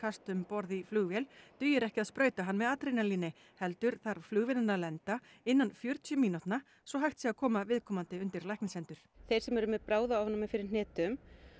um borð í flugvél dugir ekki að sprauta hann með adrenalíni heldur þarf flugvélin að lenda innan fjörutíu mínútna svo hægt sé að koma viðkomandi undir læknishendur þeir sem eru með bráðaofnæmi fyrir hnetum